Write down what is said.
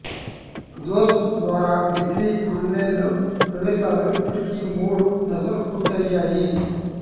దోస్త్ ద్వారా degree online ప్రవేశాలు ఇప్పటికి మూడు దశలు పూర్తయ్యాయి